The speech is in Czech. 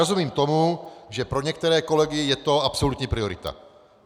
Rozumím tomu, že pro některé kolegy je to absolutní priorita.